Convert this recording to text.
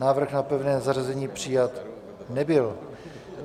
Návrh na pevné zařazení přijat nebyl.